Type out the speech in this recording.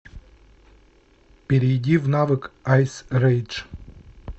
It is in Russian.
перейди в навык айс рейдж